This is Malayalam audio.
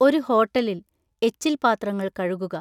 ഒരു ഹോട്ടലിൽ, എച്ചിൽ പാത്രങ്ങൾ കഴുകുക.